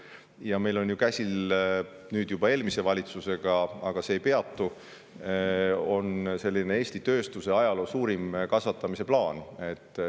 Ja meil on ju käsil – nüüd tuleb öelda, et juba eelmise valitsuse ajal looduna – Eesti ajaloo suurim tööstuse kasvatamise plaan.